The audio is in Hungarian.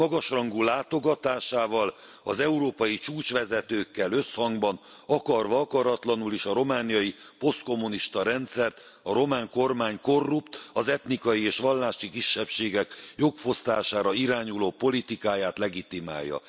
Magas rangú látogatásával az európai csúcsvezetőkkel összhangban, akarva akaratlanul is a romániai posztkommunista rendszert, a román kormány korrupt, az etnikai és vallási kisebbségek jogfosztására irányuló politikáját legitimálja.